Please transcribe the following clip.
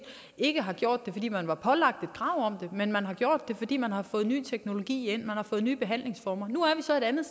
ikke har gjort det fordi man var pålagt et krav om men har gjort det fordi man har fået ny teknologi og nye behandlingsformer nu er vi så et andet